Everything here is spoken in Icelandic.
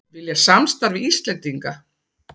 Vilja samstarf við Íslendinga